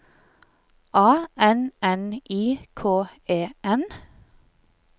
A N N I K E N